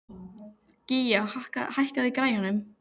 Gía, hækkaðu í græjunum.